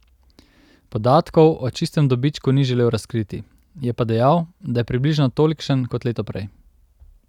Podatkov o čistem dobičku ni želel razkriti, je pa dejal, da je približno tolikšen kot leto prej.